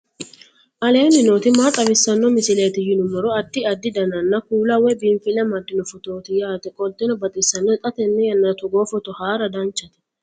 aleenni nooti maa xawisanno misileeti yinummoro addi addi dananna kuula woy biinfille amaddino footooti yaate qoltenno baxissannote xa tenne yannanni togoo footo haara danchate